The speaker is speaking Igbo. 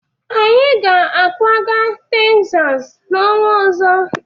Anyị ga-akwaga Tegzas n'ọnwa ọzọ.